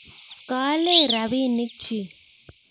Kaale rapinik chi